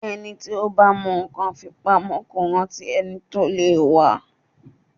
Ẹni tí ó bá mọ nǹkan fi pamọ́ kó rántí ẹni tí ó lè wa.